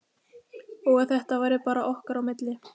Og að þetta væri bara okkar á milli.